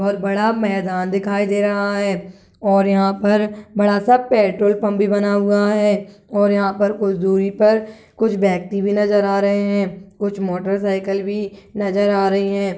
बहोत बड़ा मेदान दिखाई दे रहा है और यहाँ पर बड़ा सा पेट्रोल पम्प भी बना हुआ है और यहाँ पर कुछ दूरी पर कुछ व्यक्ति भी नजर आ रहे है कुछ मोटर साइकिल भी नज़र आ रही है।